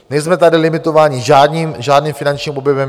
Nejsme tady limitováni žádným finančním objemem.